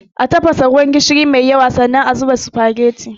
A tafasa ruwan gishiri mai yawa, sannan a zuba sufageti.